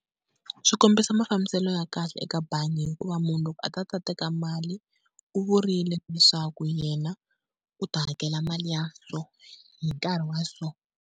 Swi kombisa mafambiselo ya kahle eka bangi hikuva munhu loko a ta ta teka mali u vurile leswaku yena u ta hakela mali ya so, hi nkarhi wa so.